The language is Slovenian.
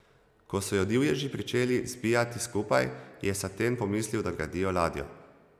Ko so jo divježi pričeli zbijati skupaj, je Saten pomislil, da gradijo ladjo.